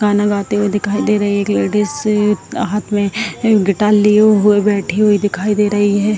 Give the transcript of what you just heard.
गाना गाते हुए दिखाई दे रहे है एक लेडिज हाथ मे गीटार लिए हुए बैठे हुए दिखाई दे रही है।